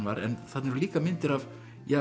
var en þarna eru líka myndir af